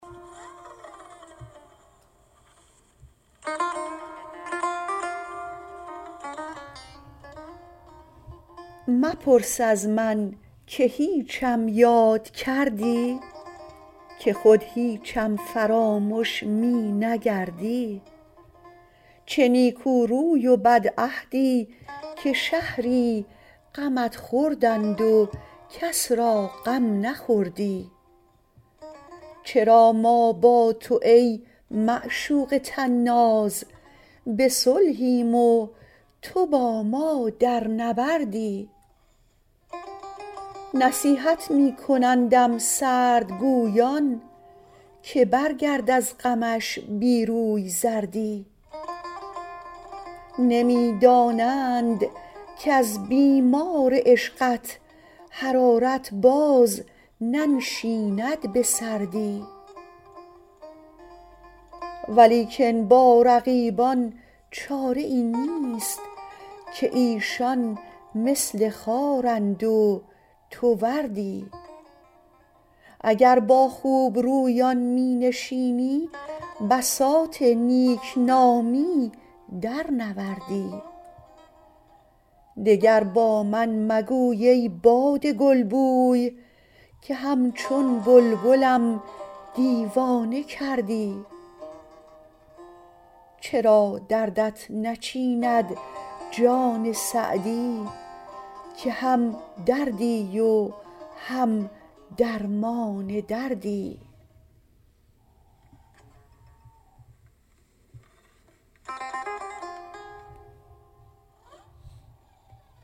مپرس از من که هیچم یاد کردی که خود هیچم فرامش می نگردی چه نیکو روی و بدعهدی که شهری غمت خوردند و کس را غم نخوردی چرا ما با تو ای معشوق طناز به صلحیم و تو با ما در نبردی نصیحت می کنندم سردگویان که برگرد از غمش بی روی زردی نمی دانند کز بیمار عشقت حرارت باز ننشیند به سردی ولیکن با رقیبان چاره ای نیست که ایشان مثل خارند و تو وردی اگر با خوبرویان می نشینی بساط نیک نامی درنوردی دگر با من مگوی ای باد گلبوی که همچون بلبلم دیوانه کردی چرا دردت نچیند جان سعدی که هم دردی و هم درمان دردی